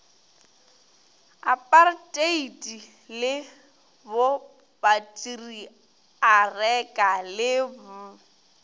aparteiti le bopatriareka le b